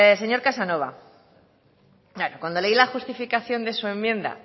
señor casanova cuando leí la justificación de su enmienda